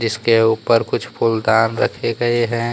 इसके ऊपर कुछ फूलदान रखे गए हैं।